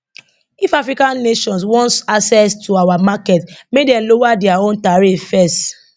if african nations want access to our markets make dem lower dia own tariffs first